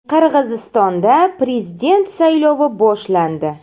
Qirg‘izistonda prezident saylovi boshlandi.